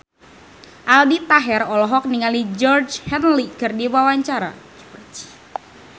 Aldi Taher olohok ningali Georgie Henley keur diwawancara